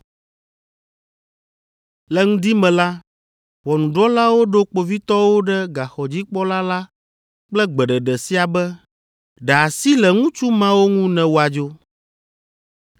Le ŋdi me la, ʋɔnudrɔ̃lawo ɖo kpovitɔwo ɖe gaxɔdzikpɔla la kple gbeɖeɖe sia be, “Ɖe asi le ŋutsu mawo ŋu ne woadzo.”